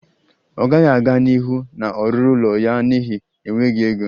Ọ gaghị aga n'ihu na-ọrụrụ ụlọ ya n'ihi enweghị ego